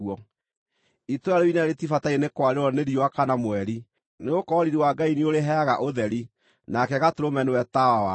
Itũũra rĩu inene rĩtibataire nĩ kwarĩrwo nĩ riũa kana mweri, nĩgũkorwo riiri wa Ngai nĩũrĩheaga ũtheri, nake Gatũrũme nĩwe tawa warĩo.